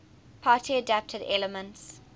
party adapted elements